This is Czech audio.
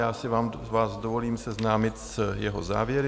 Já si vás dovolím seznámit s jeho závěry: